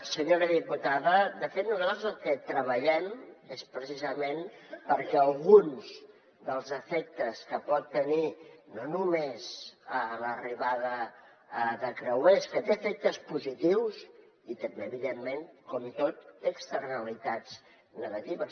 senyora diputada de fet nosaltres el que treballem és precisament perquè alguns dels efectes que pot tenir no només l’arribada de creuers que té efectes positius i també evidentment com tot té externalitats negatives